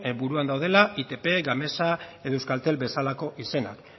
buruak daudela itp gamesa edo euskaltel bezalako izenak